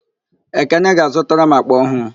Ekene ga-azụtara m àkpà ọhụụ.